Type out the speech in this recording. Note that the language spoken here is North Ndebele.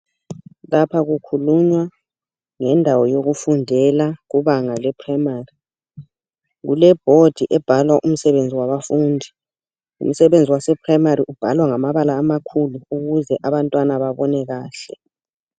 Lapha kukhulunywa ngendawo yokufundela kubanga lephrayimari. Kulebhodi ebhalwa umsebenzi wabafundi. Umsebenzi wasephrayimari ubhala ngamabala amakhulu ukuze abantwana babone kahle.